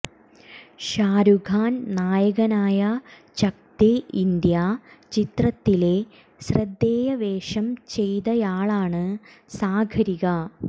ഷാരൂഖ് ഖാൻ നായകനായ ചക്ദേ ഇന്ത്യ ചിത്രത്തിലെ ശ്രദ്ധേയവേഷം ചെയ്തയാളാണ് സാഗരിക